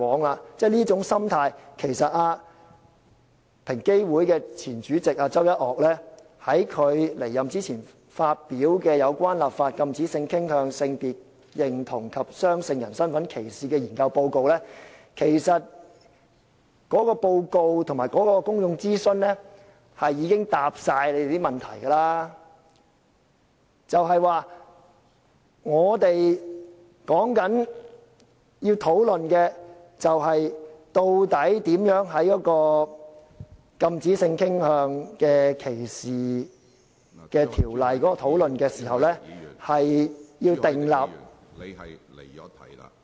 對於這種心態，其實平等機會委員會在其前主席周一嶽離任前發表"有關立法禁止性傾向、性別認同及雙性人身份歧視的研究報告"的內容和所進行的公眾諮詢，已經全部回答了大家的問題，也就是說，我們要討論的是究竟如何在討論禁止性傾向歧視的條例時，訂立......